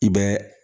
I bɛ